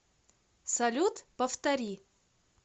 салют повтори